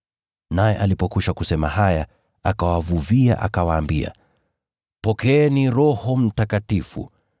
Naye alipokwisha kusema haya, akawavuvia, akawaambia, “Pokeeni Roho Mtakatifu.